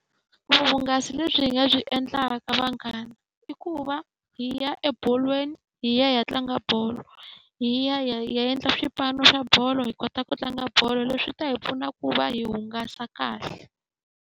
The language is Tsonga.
Vuhungasi lebyi hi nga byi endlaka vanghana, i ku va hi ya ebolweni hi ya hi ya tlanga bolo. Hi ya hi ya hi ya endla swipano swa bolo hi kota ku tlanga bolo. Leswi ta hi pfuna ku va hi hungasa kahle.